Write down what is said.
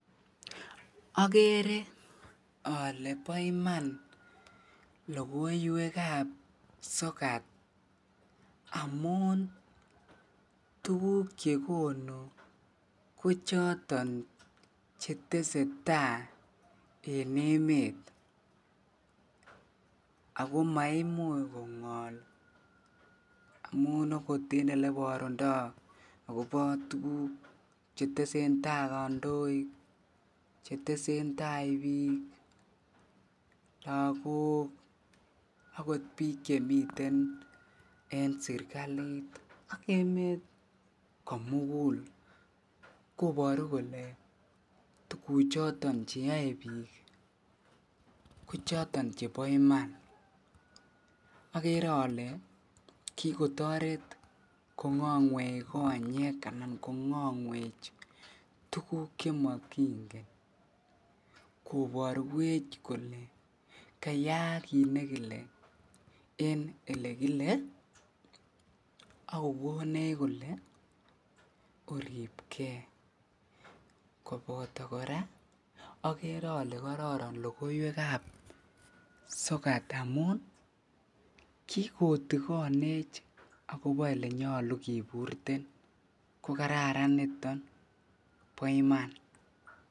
Okere olee bo iman ngalekab sokat amun tukuk chekonu ko choton cheteseta en emet akko maimuch kongol amun okot en eleborundo akobo tukuk chetesentai kondoik chetesentai biik lokok ak kot biik chemiten en serikalit ak emet komukul koboru kole tukuchoton cheyoe biik ko choton chebo iman, okere olee kikotoret kongongwech konyek anan kongongwech tukuk chemokingen koborwech kolee kayaak kiit nekile en elekile ak kokonech kolee oribke koboto kora okere olee kororon lokoiwekab sokat amun kikotikonech ak kobo elenyolu kiburten ko kararan niton bo iman.